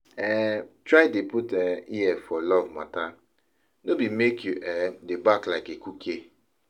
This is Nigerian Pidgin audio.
um Try dey put um ear for luv mata no bi mek yu um dey bark like ekuke